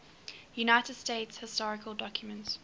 united states historical documents